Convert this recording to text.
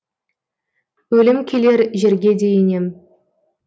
өлім келер жерге де енем